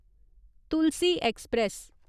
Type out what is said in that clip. Tulsi express